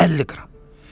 50 qram.